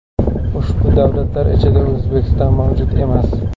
Ushbu davlatlar ichida O‘zbekiston mavjud emas.